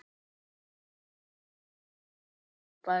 Þú varst alveg frábær.